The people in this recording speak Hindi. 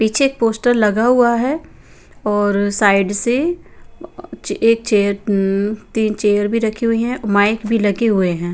पीछे पोस्टर लगा हुआ है और साइड से एक चेयर अअ तीन चेयर भी रखी हुई है माइक भी लगे हुए हैं.